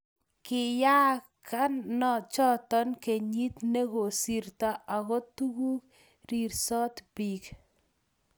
kiyaaka choto kenyit ne kosirtoi aku tuku rirsot biik